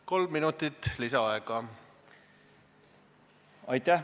Kolm minutit lisaaega.